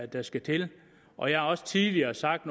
der skal til og jeg har også tidligere sagt